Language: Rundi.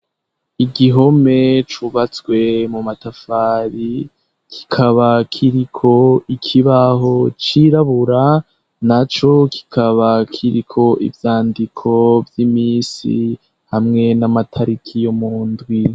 Igihome cubatswe mu matafari kikaba kiriko ikibaho cirabura, na co kikaba kiriko ivyandiko vy'imisi hamwe n'amatariki yo mundwi.